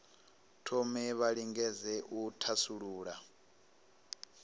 thome vha lingedze u thasulula